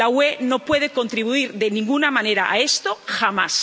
La UE no puede contribuir de ninguna manera a esto, jamás.